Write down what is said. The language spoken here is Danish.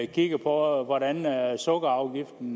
kigger på hvordan sukkerafgiften